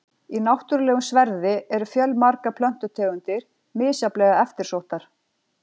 Í náttúrulegum sverði eru fjölmargar plöntutegundir, misjafnlega eftirsóttar.